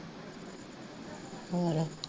ਹੋਰ